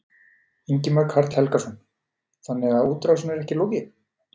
Ingimar Karl Helgason: Þannig að útrásinni er ekki lokið?